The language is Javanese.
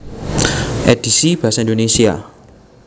Édhisi basa Indonesia